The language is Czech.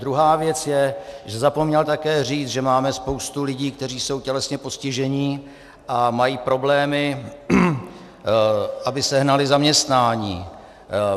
Druhá věc je, že zapomněl také říct, že máme spoustu lidí, kteří jsou tělesně postižení a mají problémy, aby sehnali zaměstnání.